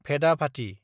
भेदाभाथि